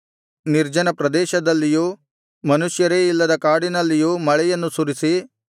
ನಿರ್ಜನ ಪ್ರದೇಶದಲ್ಲಿಯೂ ಮನುಷ್ಯರೇ ಇಲ್ಲದ ಕಾಡಿನಲ್ಲಿಯೂ ಮಳೆಯನ್ನು ಸುರಿಸಿ